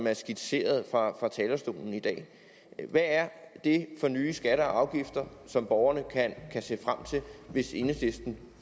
er skitseret fra talerstolen i dag hvad er det for nye skatter og afgifter som borgerne kan se frem til hvis enhedslisten